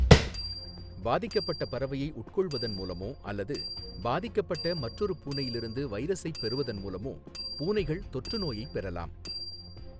பாதிக்கப்பட்ட பறவையை உட்கொள்வதன் மூலமோ அல்லது பாதிக்கப்பட்ட மற்றொரு பூனையிலிருந்து வைரஸைப் பெறுவதன் மூலமோ பூனைகள் தொற்றுநோயைப் பெறலாம்.